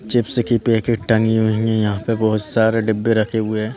Chips की packet टंगी हुई है यहाँ पे बहुत सारे डिब्बे रखे हुए हैं।